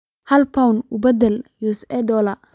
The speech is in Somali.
Hal Pound una beddelo US dollar